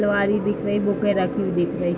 अलमारी दिख रही। बुकें रखी हुई दिख रहीं।